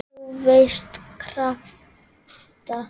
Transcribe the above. þú veist- krafta.